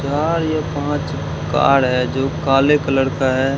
यहां ये पांच कार है जो काले कलर का है।